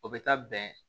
O bɛ taa bɛn